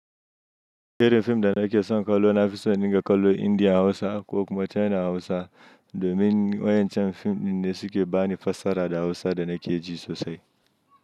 Irin fim da nake son kallo na fi so in dinga kallo Indiya Hausa ko kuma China Hausa domin wayancan fim dinne suke bani fassara da Hausa da nake ji sosai.